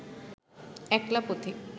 একলা পথিক